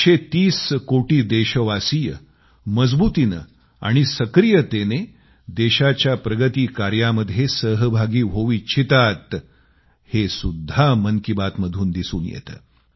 130 कोटी देशवासीय मजबुतीनं आणि सक्रियतेनं देशाच्या प्रगती कार्यामध्ये सहभागी होवू इच्छितात हे सुद्धा मन की बात मधून दिसून येतं